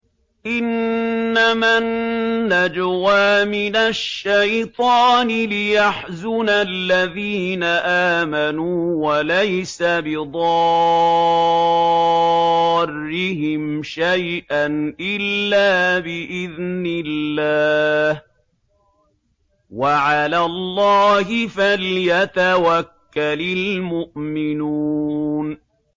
إِنَّمَا النَّجْوَىٰ مِنَ الشَّيْطَانِ لِيَحْزُنَ الَّذِينَ آمَنُوا وَلَيْسَ بِضَارِّهِمْ شَيْئًا إِلَّا بِإِذْنِ اللَّهِ ۚ وَعَلَى اللَّهِ فَلْيَتَوَكَّلِ الْمُؤْمِنُونَ